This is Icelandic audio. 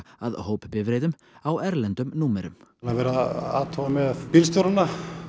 að hópbifreiðum á erlendum númerum það er verið að athuga með bílstjórana